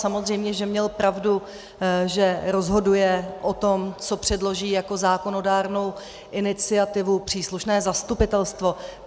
Samozřejmě že měl pravdu, že rozhoduje o tom, co předloží jako zákonodárnou iniciativu, příslušné zastupitelstvo.